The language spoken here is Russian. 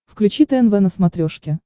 включи тнв на смотрешке